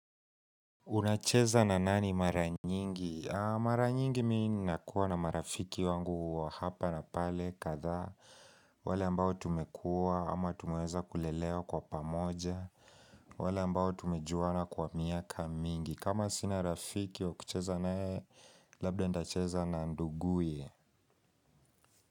Unacheza na nani maranyingi? Maranyingi mimi nakuwa na marafiki wangu hapa na pale kadhaa wale ambao tumekua ama tumeweza kulelewa kwa pamoja wale ambao tumejuana kwa miaka mingi kama sina rafiki wa kucheza na yeye labda nitacheza na nduguye.